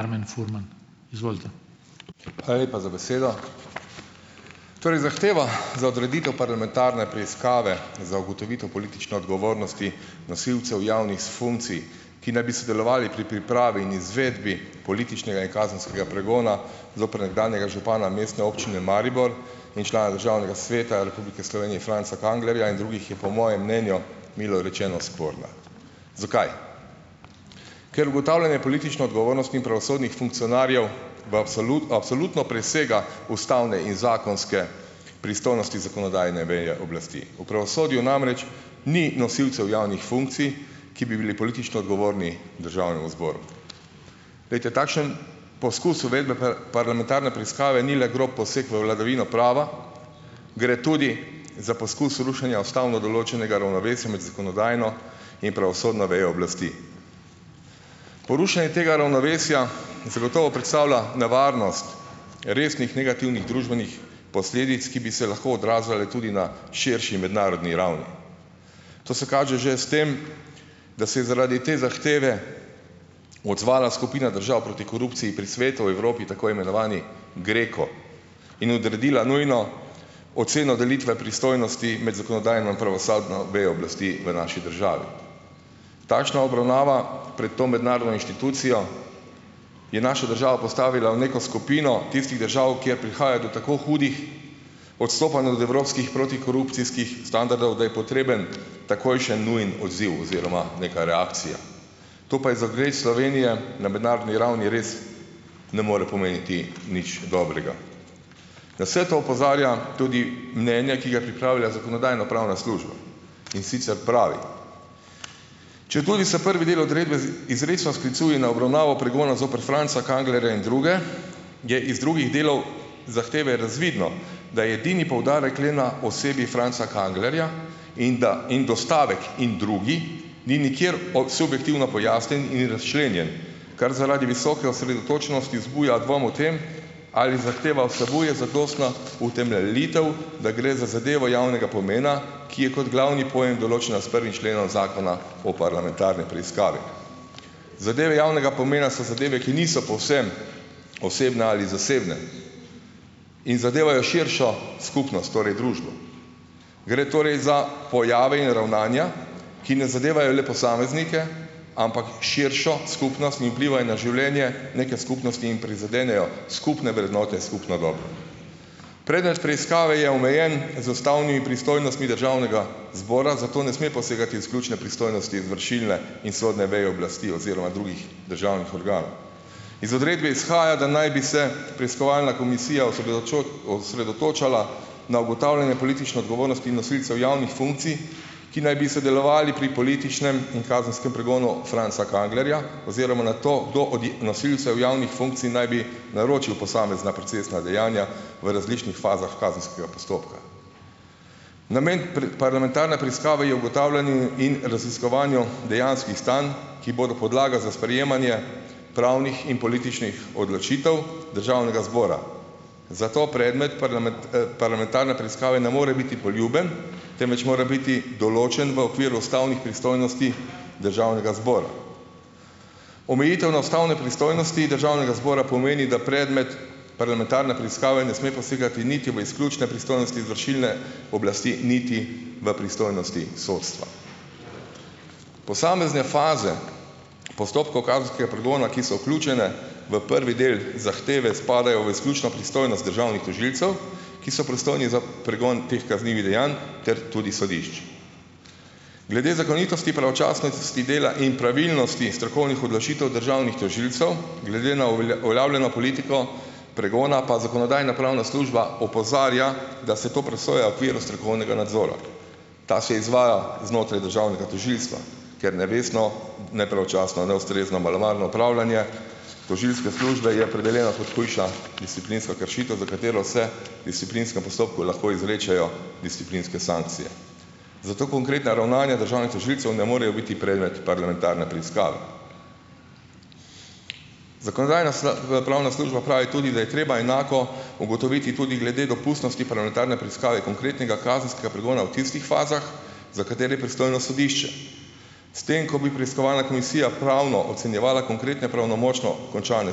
... Karmen Furman, izvolite. Hvala lepa za besedo. Torej zahteva za odreditev parlamentarne preiskave za ugotovitev politične odgovornosti nosilcev javnih funkcij, ki naj bi sodelovali pri pripravi in izvedbi političnega in kazenskega pregona zoper nekdanjega župana Mestne občine Maribor in člana državnega sveta Republike Slovenije, Franca Kanglerja, in drugih, je po mojem mnenju milo rečeno sporna. Zakaj? Ker ugotavljanje politične odgovornosti in pravosodnih funkcionarjev v absolutno presega ustavne in zakonske pristojnosti zakonodajne veje oblasti. V pravosodju namreč ni nosilcev javnih funkcij, ki bi bili politično odgovorni Državnemu zboru. Glejte, takšen poskus uvedbe parlamentarne preiskave ni le grob poseg v vladavino prava, gre tudi za poskus rušenja ustavno določenega ravnovesja med zakonodajno in pravosodno vejo oblasti. Porušenje tega ravnovesja zagotovo predstavlja nevarnost resnih negativnih družbenih posledic, ki bi se lahko odražale tudi na širši mednarodni ravni. To se kaže že s tem, da se zaradi te zahteve odzvala skupina držav proti korupciji pri Svetu Evrope, tako imenovani GRECO, in odredila nujno oceno delitve pristojnosti med zakonodajno in pravosodno vejo oblasti v naši državi. Takšna obravnava pred to mednarodno inštitucijo je našo državo postavila v neko skupino tistih držav, kjer prihaja do tako hudih odstopanj od evropskih protikorupcijskih standardov, da je potreben takojšnji nujen odziv oziroma neka reakcija. To pa je za ugled Slovenije na mednarodni ravni res ne more pomeniti nič dobrega. Na vse to opozarja tudi mnenja, ki ga je pripravila Zakonodajno-pravna služba. In sicer pravi: Četudi se prvi del odredbe izrecno sklicuje na obravnavo pregona zoper Franca Kanglerja in druge, je iz drugih delov zahteve razvidno, da je edini poudarek le na osebi Franca Kanglerja in da, in dostavek in drugi ni nikjer subjektivno pojasnjen in razčlenjen, kar zaradi visoke osredotočenosti vzbuja dvom o tem, ali zahteva vsebuje zadostna utemeljitev, da gre za zadevo javnega pomena, ki je kot glavni pojem določena s prvim členom Zakona o parlamentarni preiskavi. Zadeve javnega pomena so zadeve, ki niso povsem osebne ali zasebne. In zadevajo širšo skupnost, torej družbo. Gre torej za pojave in ravnanja, ki ne zadevajo le posameznike, ampak širšo skupnost in vplivajo na življenje neke skupnosti in prizadenejo skupne vrednote, skupno dobro . Predmet preiskave je omejen z ustavnimi pristojnostmi državnega zbora, zato ne sme posegati v ključne pristojnosti izvršilne in sodne veje oblasti oziroma drugih državnih organov. Iz odredbe izhaja, da naj bi se preiskovalna komisija osredotočala na ugotavljanje politične odgovornosti nosilcev javnih funkcij, ki naj bi sodelovali pri političnem in kazenskem pregonu Franca Kanglerja, oziroma na to, kdo od nosilcev javnih funkcij naj bi naročil posamezna procesna dejanja v različnih fazah kazenskega postopka. Namen parlamentarne preiskave je ugotavljanje in raziskovanje dejanskih stanj, ki bodo podlaga za sprejemanje pravnih in političnih odločitev Državnega zbora. Zato predmet parlamentarne preiskave ne more biti poljuben, temveč mora biti določen v okviru ustavnih pristojnosti Državnega zbora. Omejitev na ustavne pristojnosti Državnega zbora pomeni, da predmet parlamentarne preiskave ne sme posegati niti v izključne pristojnosti izvršilne oblasti niti v pristojnosti sodstva. Posamezne faze postopkov kazenskega pregona, ki so vključene v prvi del zahteve, spadajo v izključno pristojnost državnih tožilcev, ki so pristojni za pregon teh kaznivih dejanj ter tudi sodišč. Glede zakonitosti, pravočasnosti dela in pravilnosti strokovnih odločitev državnih tožilcev glede na uveljavljeno politiko pregona pa Zakonodajno-pravna služba opozarja, da se to presoja v okviru strokovnega nadzora. Ta se izvaja znotraj državnega tožilstva, ker nevestno, nepravočasno, neustrezno, malomarno opravljanje tožilske službe je opredeljena kot hujša disciplinska kršitev, za katero se disciplinskem postopku lahko izrečejo disciplinske sankcije. Zato konkretna ravnanja državnih tožilcev ne morejo biti predmet parlamentarne preiskave. Zakonodajno- pravna služba pravi tudi, da je treba enako ugotoviti tudi glede dopustnosti parlamentarne preiskave konkretnega kazenskega pregona v tistih fazah, za katere je pristojno sodišče. S tem, ko bi preiskovalna komisija pravno ocenjevala konkretne pravnomočno končane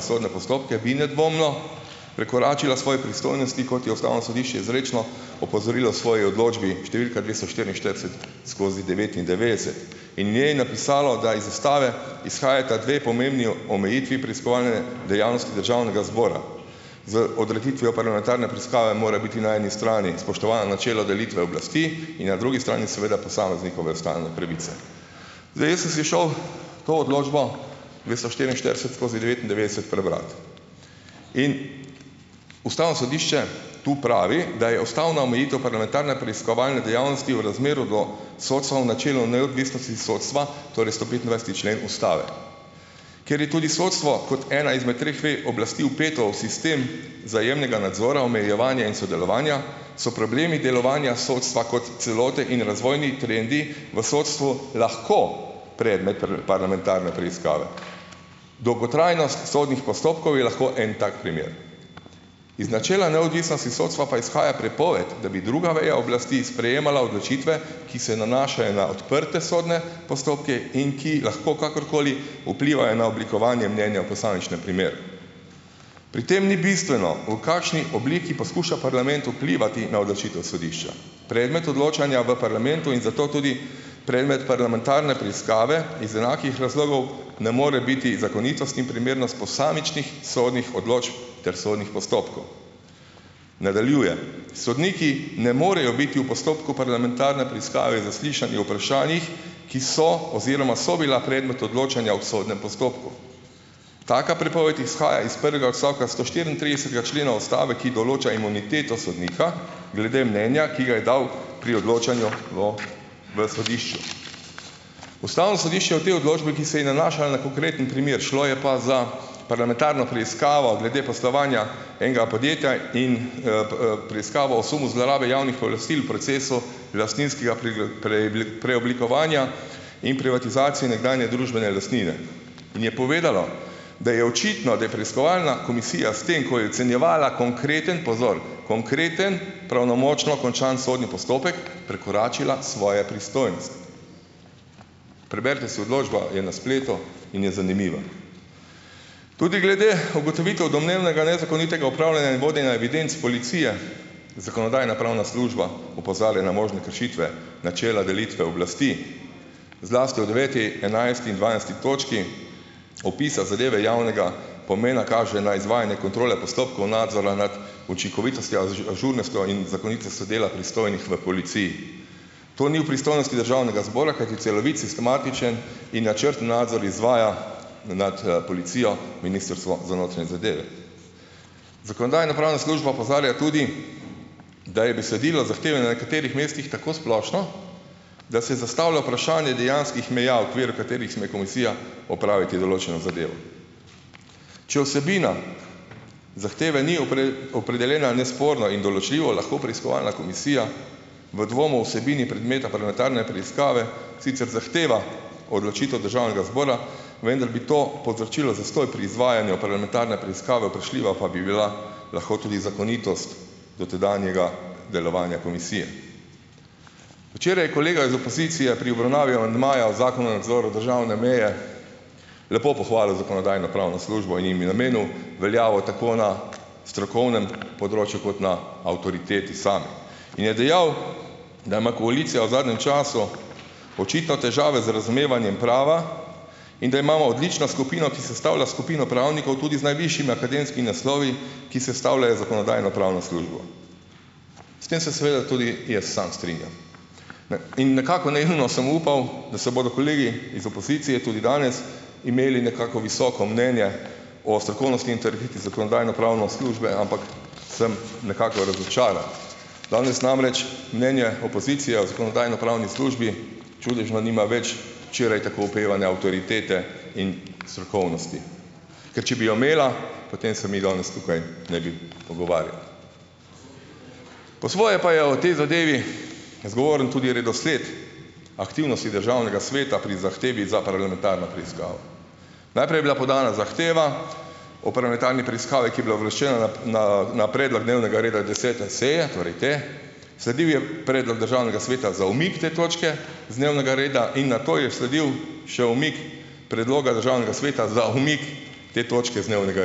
sodne postopke, bi nedvomno prekoračila svoje pristojnosti, kot je Ustavno sodišče izrecno opozorilo v svoji odločbi številka dvesto štiriinštirideset skozi devetindevetdeset. In v njej napisalo, da iz Ustave izhajata dve pomembni omejitvi preiskovalne dejavnosti Državnega zbora. Z odreditvijo parlamentarne preiskave mora biti na eni strani spoštovano načelo delitve oblasti in na drugi strani seveda posameznikove ustavne pravice. Zdaj, jaz sem si šel to odločbo dvesto štiriinštirideset skozi devetindevetdeset prebrat. In Ustavno sodišče tu pravi, da je ustavna omejitev parlamentarne preiskovalne dejavnosti v razmerju do sodstva v načelu neodvisnosti sodstva, torej sto petindvajseti člen Ustave. Ker je tudi sodstvo kot ena izmed treh vej oblasti vpeto v sistem vzajemnega nadzora, omejevanja in sodelovanja, so problemi delovanja sodstva kot celote in razvojni trendi v sodstvu lahko predmet parlamentarne preiskave. Dolgotrajnost sodnih postopkov je lahko en tak primer. Iz načela neodvisnosti sodstva pa izhaja prepoved, da bi druga veja oblasti sprejemala odločitve, ki se nanašajo na odprte sodne postopke in ki lahko kakorkoli vplivajo na oblikovanje mnenja v posamičnem primeru. Pri tem ni bistveno, v kakšni obliki poskuša parlament vplivati na odločitev sodišča. Predmet odločanja v parlamentu in zato tudi predmet parlamentarne preiskave iz enakih razlogov ne more biti zakonitost in primernost posamičnih sodnih odločb ter sodnih postopkov. Nadaljujem. Sodniki ne morejo biti v postopku parlamentarne preiskave zaslišani o vprašanjih, ki so oziroma so bila predmet odločanja o sodnem postopku. Taka prepoved izhaja iz prvega odstavka sto štiriintridesetega člena Ustave, ki določa imuniteto sodnika glede mnenja, ki ga je dal pri odločanju o, v sodišču. Ustavno sodišče o tej odločbi, ki se je nanašala na konkreten primer, šlo je pa za parlamentarno preiskavo glede poslovanja enega podjetja in preiskavo o sumu zlorabe javnih pooblastil procesu lastninskega preoblikovanja in privatizacije nekdanje družbene lastnine. In je povedalo, da je očitno, da je preiskovalna komisija s tem, ko je ocenjevala konkreten, pozor, konkreten, pravnomočno končan sodni postopek, prekoračila svoje pristojnosti. Preberite si odločbo, je na spletu in je zanimiva. Tudi glede ugotovitev domnevnega nezakonitega upravljanja in vodenja evidenc policije, Zakonodajno-pravna služba opozarja na možne kršitve, načela delitve oblasti, zlasti v deveti, enajsti in dvanajsti točki, opisa zadeve javnega pomena kaže na izvajanje kontrole postopkov nadzora nad učinkovitostjo, ažurnostjo in zakonitostjo dela pristojnih v policiji. To ni v pristojnosti Državnega zbora, kajti celovit, sistematičen in načrten nadzor izvaja nad policijo Ministrstvo za notranje zadeve. Zakonodajno-pravna služba opozarja tudi, da je besedilo zahteve na nekaterih mestih tako splošno, da se zastavlja vprašanje dejanskih meja, v okviru katerih sme komisija opravi določeno zadevo. Če vsebina zahteve ni opredeljena nesporno in določljivo, lahko preiskovalna komisija v dvomu o vsebini predmeta parlamentarne preiskave sicer zahteva odločitev Državnega zbora, vendar bi to povzročilo zastoj pri izvajanju parlamentarne preiskave, vprašljiva pa bi bila lahko tudi zakonitost dotedanjega delovanja komisije. Včeraj je kolega iz opozicije pri obravnavi amandmaja o Zakonu o nadzoru državne meje lepo pohvalil Zakonodajno-pravno službo in jim je namenil veljavo tako na strokovnem področju kot na avtoriteti sami. In je dejal, da ima koalicija v zadnjem času očitno težave z razumevanjem prava in da imamo odlično skupino, ki sestavlja skupino pravnikov, tudi z najvišjimi akademskimi naslovi, ki sestavljajo Zakonodajno-pravno službo. S tem se seveda tudi jaz samo strinjam. Ne. In nekako naivno sem upal, da se bodo kolegi iz opozicije tudi danes imeli nekako visoko mnenje o strokovnosti Zakonodajno-pravno službe, ampak sem nekako razočaran. Danes namreč mnenje opozicije o Zakonodajno-pravni službi čudežno nima več včeraj tako opevane avtoritete in strokovnosti. Ker če bi jo imela, potem se mi danes tukaj ne bi pogovarjali. Po svoje pa je o tej zadevi zgovoren tudi redosled aktivnosti Državnega sveta pri zahtevi za parlamentarno preiskavo. Najprej je bila podana zahteva o parlamentarni preiskavi, ki je bila uvrščena na na, na predlog dnevnega reda desete seje, torej te, sledil je predlog Državnega sveta za umik te točke z dnevnega reda in nato je sledil še umik predloga Državnega sveta za umik te točke z dnevnega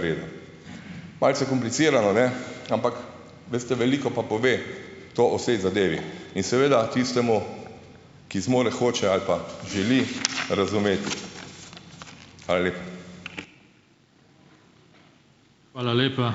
reda. Malce komplicirano, ne, ampak veste, veliko pa pove to o saj zadevi in seveda tistemu, ki zmore, hoče ali pa želi razumeti. Hvala lepa. Hvala lepa.